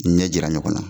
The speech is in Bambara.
Ɲɛ jira ɲɔgɔn na